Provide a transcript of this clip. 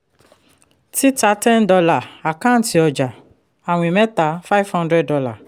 títà ten dollar àkántì ọjà-àwìn mẹ́ta five hundred dollar